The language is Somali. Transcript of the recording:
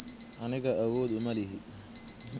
Aniga awodh malihi.